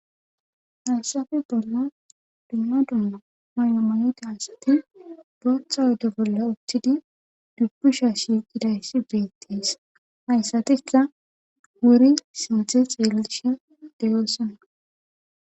Hayssappe bollan haymanote asati bootha oyde bolla uttidi dubusha shiiqidayssi beetees.hayssatikka wuri shate xeelishe de'osona.